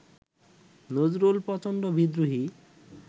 নজরুল প্রচণ্ড বিদ্রোহী